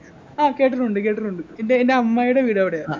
ആഹ് കേട്ടിട്ടുണ്ട് കേട്ടിട്ടുണ്ട് ഇത് എൻ്റെ അമ്മായിയുടെ വീട് അവിടെയാ